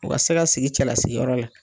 O ka se ka sigi cɛlasigiyɔrɔ la